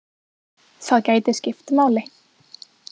Það gæti skipt máli.